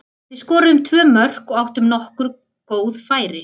Við skoruðum tvö mörk og áttum nokkur góð færi.